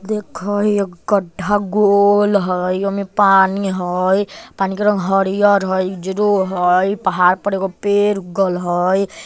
देखो ये गड्ढा गोल हैय योमे पानी हैय पानी का रंग हरियर हैय उज्जरो है पहाड़ पर ईगो पेड़ उगल हैय।